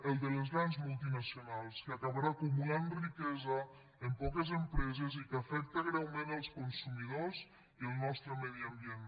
el de les grans multinacionals que acabarà acumulant riquesa en poques empreses i que afecta greument els consumidors i el nostre medi ambient